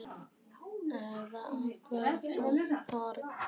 Eða jafnvel frönsk horn?